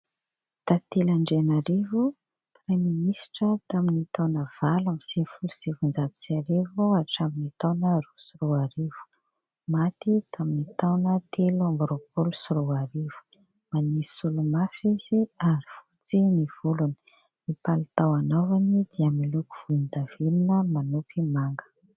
Tantely ANDRIANARIVO, praiminisitra tamin'ny taona valo amby sivy folo sy sivinjato sy arivo hatramin'ny taona roa sy roarivo. Maty tamin'ny taona telo amby roapolo sy roarivo. Manisy solomaso izy ary fotsy ny volony. Ny palitao anaovany dia miloko volondavenona manopy manga.